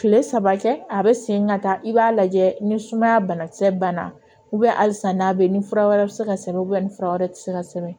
Kile saba kɛ a bɛ segin ka taa i b'a lajɛ ni sumaya bana kisɛ banna halisa n'a bɛ ni fura wɛrɛ bɛ se ka sɛbɛn ni fura wɛrɛ tɛ se ka sɛbɛn